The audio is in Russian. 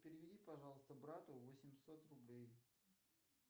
переведи пожалуйста брату восемьсот рублей